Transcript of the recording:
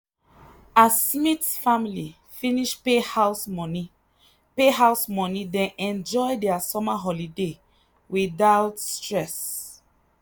as smith family finish pay house money pay house money dem enjoy their summer holiday without stress.